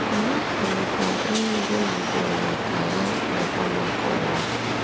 Ọ hapụghịkwa ihe mbụ o zubere maka ha nakwa maka ụwa.